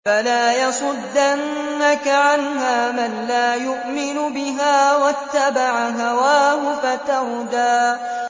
فَلَا يَصُدَّنَّكَ عَنْهَا مَن لَّا يُؤْمِنُ بِهَا وَاتَّبَعَ هَوَاهُ فَتَرْدَىٰ